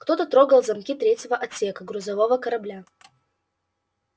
кто-то трогал замки третьего отсека грузового корабля